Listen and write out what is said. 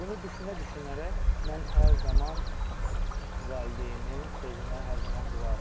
Bunu düşünə-düşünərək mən hər zaman valideynin sözünə hər zaman qulaq asırdım.